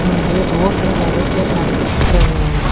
இங்கே ரோட்ல நெறைய பேர் நடந்துட்ருக்காங்க.